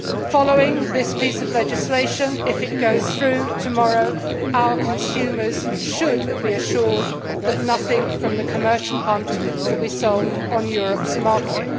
Following this piece of legislation if it goes through tomorrow our consumers should be assured that nothing from the commercial hunt will be sold on Europe's market.